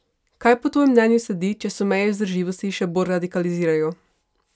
Kaj po tvojem mnenju sledi, če se meje vzdržljivosti še bolj radikalizirajo?